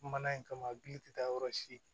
Mana in kama a gili tɛ taa yɔrɔ si